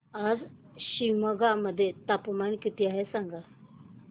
आज शिमोगा मध्ये तापमान किती आहे सांगा